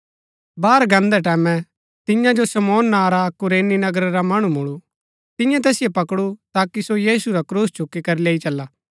बाहर गान्दै टैमैं तियां जो शमौन नां रा अक्क कुरैनी नगर रा मणु मूळु तिन्यै तैसिओ पकडु ताकि सो यीशु रा क्रूस चुकी करी लैई चला